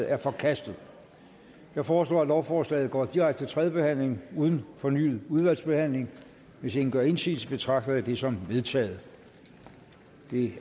er forkastet jeg foreslår at lovforslaget går direkte til tredje behandling uden fornyet udvalgsbehandling hvis ingen gør indsigelse betragter jeg det som vedtaget det